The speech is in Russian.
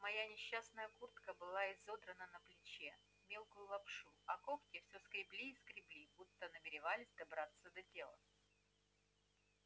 моя несчастная куртка была изодрана на плече в мелкую лапшу а когти всё скребли и скребли будто намеревались добраться до тела